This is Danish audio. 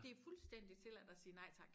Det fuldstændig tilladt at sige nej tak